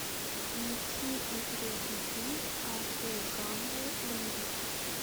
найти интересный фильм по жанру боевик